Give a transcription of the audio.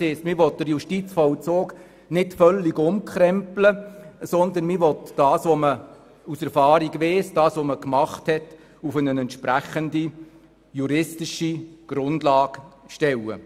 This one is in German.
Das heisst, man will den Justizvollzug nicht völlig umkrempeln, sondern das, was man aus der Erfahrung weiss und was man gemacht hat, auf eine entsprechende juristische Grundlage stellen.